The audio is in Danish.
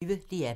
DR P1